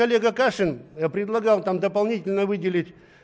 олега кашин я предлагал там дополнительно выделить